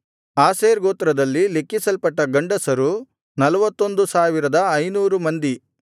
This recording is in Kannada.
ಆಶೇರ್ ಗೋತ್ರದಲ್ಲಿ ಲೆಕ್ಕಿಸಲ್ಪಟ್ಟ ಗಂಡಸರು 41500 ಮಂದಿ